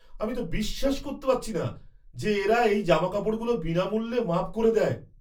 আমি তো বিশ্বাসই করতে পারছি না যে এরা এই জামাকাপড়গুলো বিনামূল্যে মাপ করে দেয়!